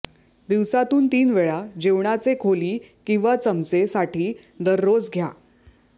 दिवसातून तीन वेळा जेवणाचे खोली किंवा चमचे साठी दररोज घ्या